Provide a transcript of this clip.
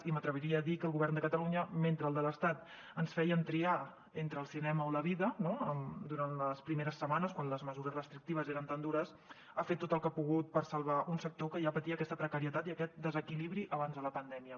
i m’atreviria a dir que el govern de catalunya mentre el de l’estat ens feia triar entre el cinema o la vida durant les primeres setmanes quan les mesures restrictives eren tan dures ha fet tot el que ha pogut per salvar un sector que ja patia aquesta precarietat i aquest desequilibri abans de la pandèmia